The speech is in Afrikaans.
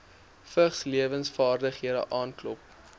vigslewensvaardighede aanklop